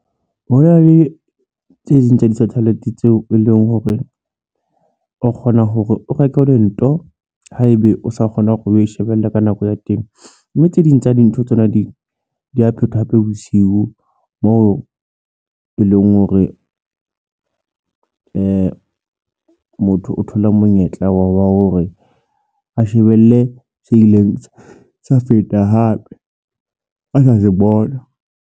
Ho na le tse ding tsa di-satellite tseo e leng hore o kgona hore o reke o lento haebe o sa kgona hore o e shebelle ka nako ya teng, mme tse ding tsa dintho tsona di ya phethwa hape bosiu moo e leng hore motho o thola monyetla wa hore a shebelle se ileng sa feta hape a sa se bona.